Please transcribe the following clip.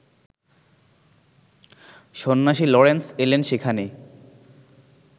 সন্ন্যাসী লরেন্স এলেন সেখানে